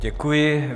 Děkuji.